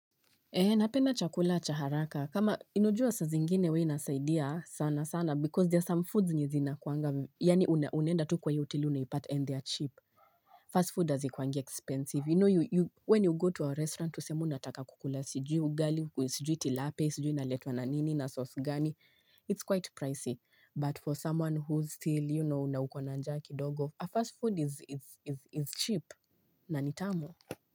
Ee napenda chakula cha haraka kama unajua saa zingine huwa inasaidia sana sana because there are some foods zenye zinakuanga yaani unaenda tu kwa hiyo hoteli unaipata and they are cheap fast food hazikuangi expensive you know you when you go to a restaurant useme unataka kukula sijui ugali sijui tilapia sijui inaletwa na nini na sauce gani, it's quite pricey but for someone who still you know na uko na njaa kidogo a fast food is cheap na nitamu.